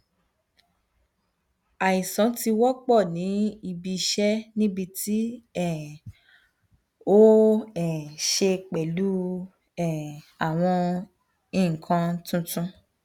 aisan ti wọpọ ni ibi iṣẹ nibiti um o um ṣe pẹlu um awọn nkan tuntun